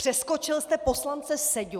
Přeskočil jste poslance Seďu...